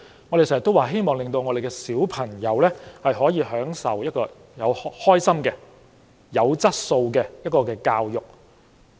我們經常說，希望讓我們的小孩可以開開心心地享受有質素的教育。